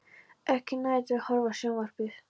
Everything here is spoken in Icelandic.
Ekkert næði til að horfa á sjónvarpið.